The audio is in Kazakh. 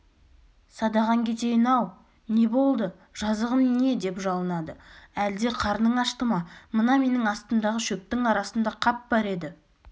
садағаң кетейін-ау не болды жазығым не деп жалынады әлде қарның ашты ма мына менің астымдағы шөптің арасында қап бар еді